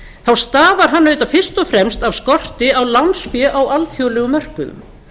þá stafar hann auðvitað fyrst og fremst af skorti á lánsfé á alþjóðlegum mörkuðum